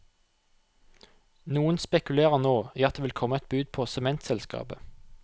Noen spekulerer nå i at det vil komme et bud på sementselskapet.